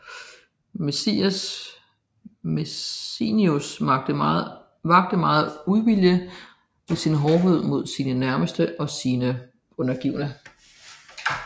Messenius vakte megen uvilje ved sin hårdhed mod sine nærmeste og sine undergivne